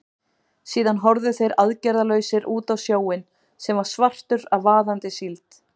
Síðan horfðu þeir aðgerðalausir út á sjóinn, sem var svartur af vaðandi síld.